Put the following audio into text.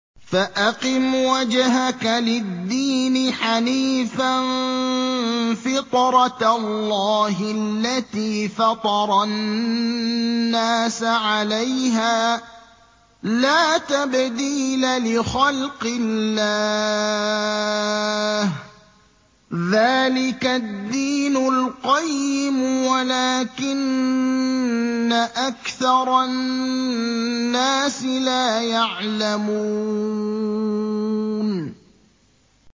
فَأَقِمْ وَجْهَكَ لِلدِّينِ حَنِيفًا ۚ فِطْرَتَ اللَّهِ الَّتِي فَطَرَ النَّاسَ عَلَيْهَا ۚ لَا تَبْدِيلَ لِخَلْقِ اللَّهِ ۚ ذَٰلِكَ الدِّينُ الْقَيِّمُ وَلَٰكِنَّ أَكْثَرَ النَّاسِ لَا يَعْلَمُونَ